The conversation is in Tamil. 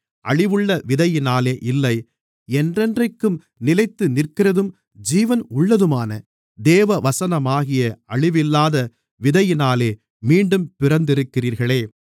அழிவுள்ள விதையினாலே இல்லை என்றென்றைக்கும் நிலைத்துநிற்கிறதும் ஜீவன் உள்ளதுமான தேவவசனமாகிய அழிவில்லாத விதையினாலே மீண்டும் பிறந்திருக்கிறீர்களே